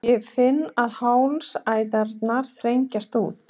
Ég finn að hálsæðarnar þenjast út.